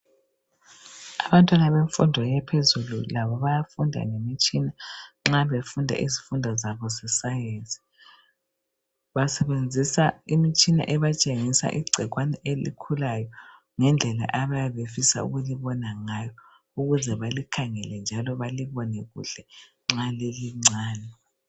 Abantwana bemfundo yaphezulu labo bayafunda ngemitshina nxa befunda izifundo zabo zescience. Basebenzisa imitshina ebatshengisa igcikwane elukhulayo ngendlela abayabe befisa ukulibona ngayo, ukuze balikhangele njalo balibone kuhle nxa lilincane.